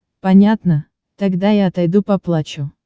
понятно тогда я отойду поплачу